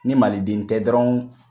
Ni maliden tɛ dɔrɔn